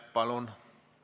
Palun!